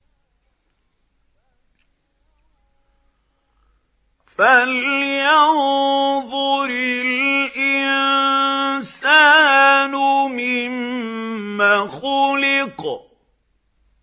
فَلْيَنظُرِ الْإِنسَانُ مِمَّ خُلِقَ